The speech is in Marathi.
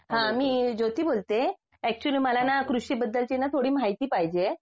हा मी ज्योती बोलते ऍक्च्युली मला ना कृषी बद्दलची थोडी माहिती पाहिजे